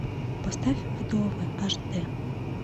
поставь вдовы аш дэ